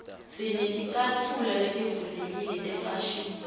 sineticatfulo letivulekile tefashini